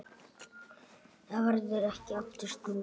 Þá verður ekki aftur snúið.